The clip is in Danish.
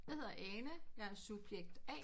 Jeg hedder Ane jeg er subjekt A